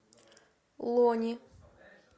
лони